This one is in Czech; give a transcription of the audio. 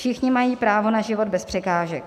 Všichni mají právo na život bez překážek.